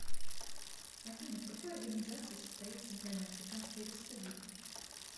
афина в какой организации состоит центральноафриканская республика